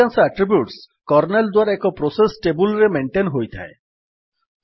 ଅଧିକାଂଶ attributes kernel ଦ୍ୱାରା ଏକ ପ୍ରୋସେସ୍ ଟେବୁଲ୍ ରେ ମେଣ୍ଟେନ୍ ହୋଇଥାଏ